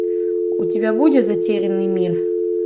у тебя будет затерянный мир